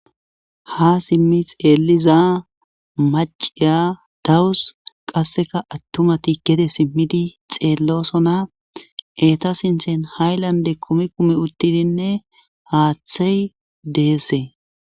Ha simmi xeeliza maciya dawus qasseka attumati gete simmidi xeellosona eta sinthen haylande kumi kumi uttidinne haaththey deesse